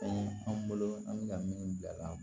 anw bolo an bɛ ka min bila